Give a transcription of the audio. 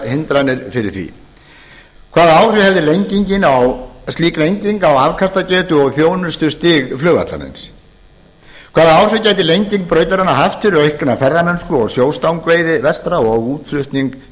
hindranir fyrir því hvaða áhrif hefði slík lenging á afkastagetu og þjónustustig flugvallarins hvaða áhrif gæti lenging brautarinnar haft fyrir aukna ferðamennsku og sjóstangveiði vestra og útflutning